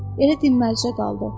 Elə dimmərcə qaldı.